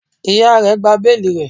Iya rẹ gba beeli rẹ